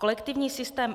Kolektivní systém